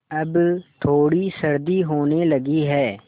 अब थोड़ी सर्दी होने लगी है